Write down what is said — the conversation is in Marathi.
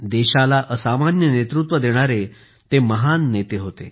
देशाला असामान्य नेतृत्व देणारे ते महान राजकारणी होते